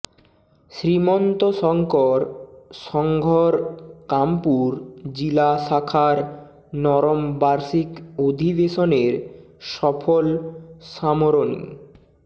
শ্ৰীমন্ত শংকৰ সংঘৰ কামপুৰ জিলা শাখাৰ নৱম বাৰ্ষিক অধিবেশনৰ সফল সামৰণি